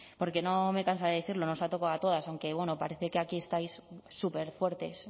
porque no me cansaré de decirlo nos ha tocado a todas aunque bueno parece que aquí estáis superfuertes